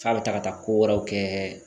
F'a bɛ taga taa ko wɛrɛw kɛ